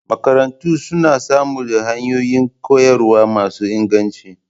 Makarantu suna samar da hanyoyi koyarwa masu inganci